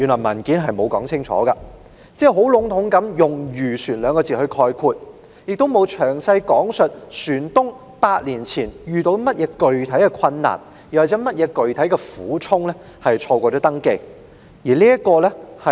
文件沒有說清楚，只籠統地用漁船來概括，亦沒有詳細講述船東8年前遇到甚麼具體困難或苦衷而錯過登記。